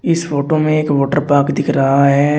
इस फोटो में एक वाटर पार्क दिख रहा है।